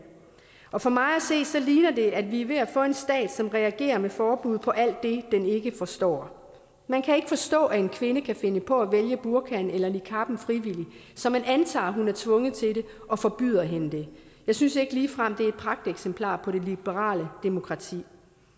og for mig at se ligner det at vi er ved at få en stat som reagerer med forbud på alt det den ikke forstår man kan ikke forstå at en kvinde kan finde på at vælge burkaen eller niqaben frivilligt så man antager at hun er tvunget til det og forbyder hende det jeg synes ikke ligefrem at pragteksemplar på det liberale demokrati